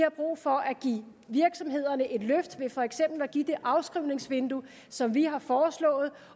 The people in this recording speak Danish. og brug for at give virksomhederne et løft ved for eksempel at give det afskrivningsvindue som vi har foreslået